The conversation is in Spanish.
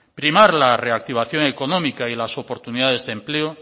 primar la reactivación económica y las oportunidades de empleo